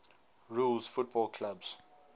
rules football clubs